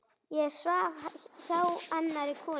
Ég svaf hjá annarri konu.